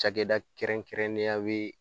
Cakɛda kɛrɛnkɛrɛnnenya ye